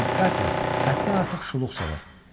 Çünki Katya həddən artıq şuluq salır.